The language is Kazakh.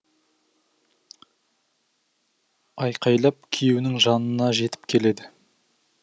айқайлап күйеуінің жанына жетіп келеді